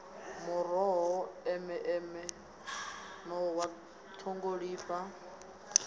muroho eme eme nṱhwa ṱhungulifha